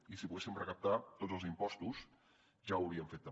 i si poguéssim recaptar tots els impostos ja ho hauríem fet també